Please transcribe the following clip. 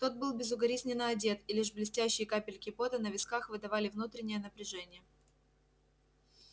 тот был безукоризненно одет и лишь блестящие капельки пота на висках выдавали внутреннее напряжение